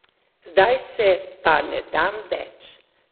Zdaj se pa ne dam več.